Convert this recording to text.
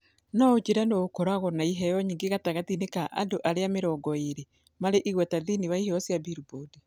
No ũnjĩĩre nũũ ũkoragwo na iheo nyingĩ gatagatĩ-inĩ ka andũ arĩa mĩrongo ĩĩrĩ marĩ igweta thĩinĩ wa iheo cia Billboard